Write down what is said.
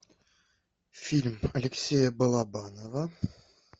фильм алексея балабанова